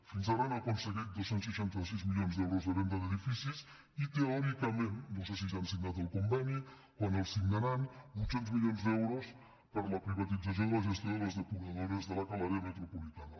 fins ara han aconseguit dos cents i seixanta sis milions d’euros de venda d’edificis i teòricament no sé si ja han signat el conveni quan el signaran vuit cents milions d’euros per la privatització de la gestió de les depuradores de l’aca a l’àrea metropolitana